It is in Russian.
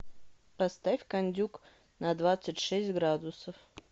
поставь кондюк на двадцать шесть градусов